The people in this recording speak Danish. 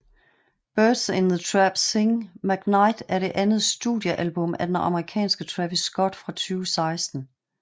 Birds in the Trap Sing McKnight er det andet studiealbum af den amerikanske Travis Scott fra 2016